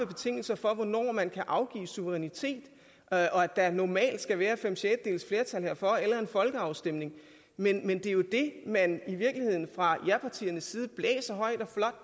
betingelser for hvornår man kan afgive suverænitet og at der normalt skal være fem sjettedeles flertal herfor eller en folkeafstemning men det er jo det man i virkeligheden fra japartiernes side blæser højt og